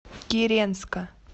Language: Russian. киренска